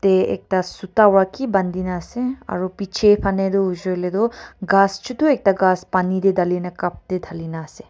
a ekta sudava ki bandina ase aro bechi fanitoh hoisi koiletoh kas chutu ekta kas pani teh thalina cup teh thalina ase.